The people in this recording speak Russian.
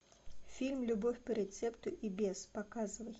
фильм любовь по рецепту и без показывай